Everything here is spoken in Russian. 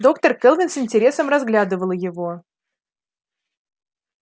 доктор кэлвин с интересом разглядывала его